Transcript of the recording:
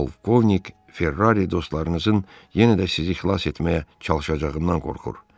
Polkovnik Ferrari dostlarınızın yenə də sizi xilas etməyə çalışacağından qorxur.